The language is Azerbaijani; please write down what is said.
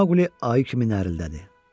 Maquli ayı kimi narıldadı.